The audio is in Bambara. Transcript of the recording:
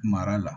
Mara la